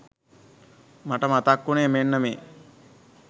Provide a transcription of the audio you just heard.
මට මතක් වුනේ මෙන්න මේ